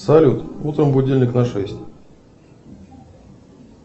салют утром будильник на шесть